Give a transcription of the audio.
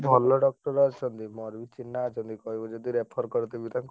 ଭଲ doctor ଅଛନ୍ତି ସବୁ ମୋର ବି ଚିହ୍ନା ଅଛନ୍ତି କହିବ ଯଦି refer କରିଦେବି ତାଂକୁ।